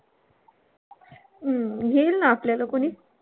हम्म घेईल ना आपल्याला कोणी?